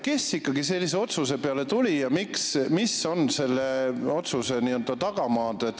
Kes ikkagi tuli sellise otsuse peale ja mis on selle tagamaad?